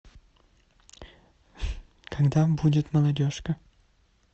когда будет молодежка